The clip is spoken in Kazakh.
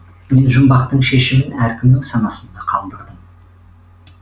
мен жұмбақтын шешімін әркімнің санасында қалдырдым